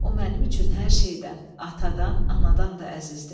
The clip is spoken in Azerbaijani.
O mənim üçün hər şeydən, atadan, anadan da əzizdir.